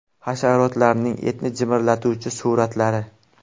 Hasharotlarning etni jimirlatuvchi suratlari .